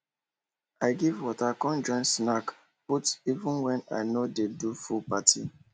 i give water come join snack put even wen i nor de do full party